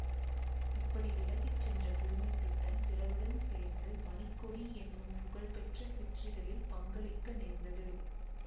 இப்படி விலகிச்சென்ற புதுமை பித்தன் பிறருடன் சேர்ந்து மணிக்கொடி என்னும் புகழ் பெற்ற சிற்றிதழில் பங்களிக்க நேர்ந்தது